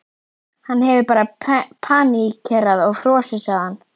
Hann hefur bara paníkerað og frosið, sagði hann.